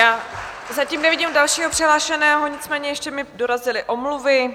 Já zatím nevidím dalšího přihlášeného, nicméně ještě mi dorazily omluvy.